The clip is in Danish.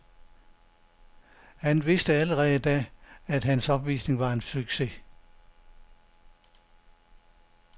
Han vidste allerede da, at hans opvisning var en succes.